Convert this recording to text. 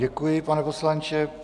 Děkuji, pane poslanče.